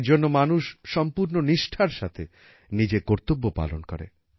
এর জন্য মানুষ সম্পূর্ণ নিষ্ঠার সাথে নিজের কর্তব্য পালন করে